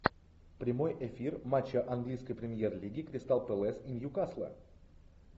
прямой эфир матча английской премьер лиги кристал пэлас и ньюкасла